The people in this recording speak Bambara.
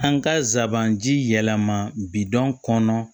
An ka zaban ji yɛlɛma bidɔn kɔnɔ